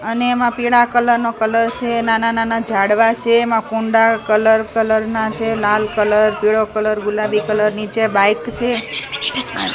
અને એમાં પીળા કલર નો કલર છે નાના-નાના ઝાડવા છે એમાં કુંડા કલર કલર ના છે લાલ કલર પીળો કલર ગુલાબી કલર નીચે બાઈક છે --